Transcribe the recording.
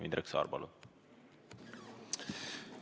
Indrek Saar, palun!